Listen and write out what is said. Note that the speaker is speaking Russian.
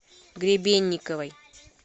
гребенниковой